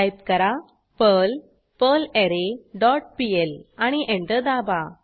type करा perl perlre dot PL आणि enter दाबा